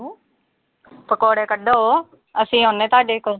ਪਕੌੜੇ ਕੱਢੋ, ਅਸੀਂ ਆਉਣੇ ਆਂ ਤੁਹਾਡੇ ਕੋਲ।